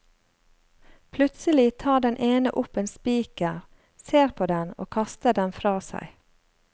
Plutselig tar den ene opp en spiker, ser på den og kaster den fra seg.